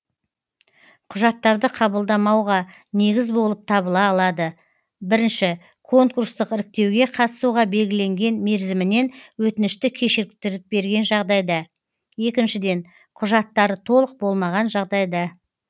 құжаттарды қабылдамауға негіз болып табыла алады бірінші конкурстық іріктеуге қатысуға белгіленген мерзімінен өтінішті кешіктіріп берген жағдайда екіншіден құжаттары толық болмаған жағдайда